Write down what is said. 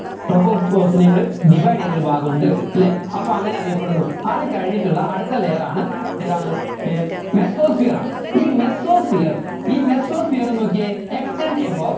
tropospause നെ കൂടി divide ചെയ്യുന്നൊരു ഭാഗമുണ്ട് അല്ലെ അപ്പോ അങ്ങനെ അറിയപ്പെടുന്നു അത് കഴിഞ്ഞിട്ടുള്ള അടുത്ത layer ആണ് ഏതാണ് ഏർ mesosphere ആണ് ഈ mesosphere ഈ mesosphere നോക്കിയേ extend about